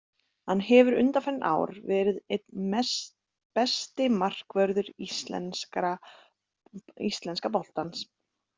Hann hefur undanfarin ár verið einn besti markvörður íslenska boltans.